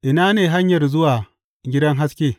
Ina ne hanyar zuwa gidan haske?